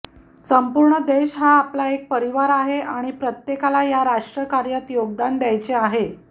संपूर्ण देश हा आपला एक परिवार आहे आणि प्रत्येकाला या राष्ट्रकार्यात योगदान द्यायचे आहे